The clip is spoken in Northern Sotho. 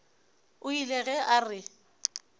o ile ge a re